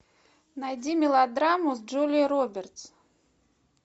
найди мелодраму с джулией робертс